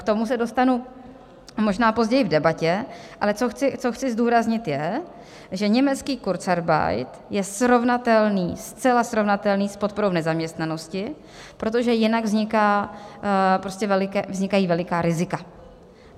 K tomu se dostanu možná později v debatě, ale co chci zdůraznit, je, že německý kurzarbeit je srovnatelný, zcela srovnatelný s podporou v nezaměstnanosti, protože jinak vznikají veliká rizika.